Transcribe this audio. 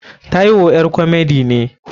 Taiwo ƴar komedi ne.